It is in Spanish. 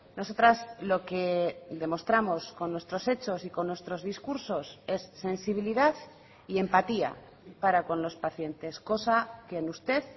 nosotras lo que demostramos con nuestros hechos y con nuestros discursos es sensibilidad y empatía para con los pacientes cosa que en usted